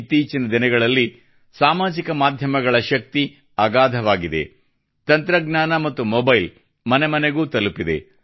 ಇತ್ತೀಚಿನ ದಿನಗಳಲ್ಲಿ ಸಾಮಾಜಿಕ ಮಾಧ್ಯಮಗಳ ಶಕ್ತಿ ಅಗಾಧವಾಗಿದೆ ತಂತ್ರಜ್ಞಾನ ಮತ್ತು ಮೊಬೈಲ್ ಮನೆ ಮನೆಗೂ ತಲುಪಿದೆ